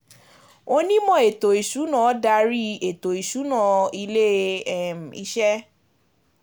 Onímò ètò ìsúná darí ètò ìsúná ilé um iṣẹ́.